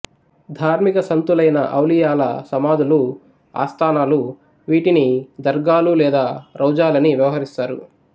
ధార్మిక సంతులైన ఔలియాల సమాధులు ఆస్తానాలు వీటిని దర్గాలు లేదా రౌజాలని వ్యవహరిస్తారు